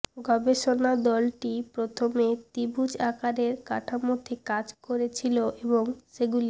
গবেষণা দলটি প্রথমে ত্রিভুজ আকারের কাঠামোতে কাজ করেছিল এবং সেগুলি